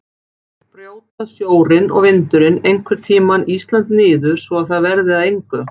Brjóta sjórinn og vindurinn einhvern tímann Ísland niður svo að það verði að engu?